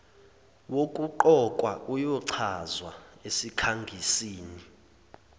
wokuqokwa uyochazwa esikhangisini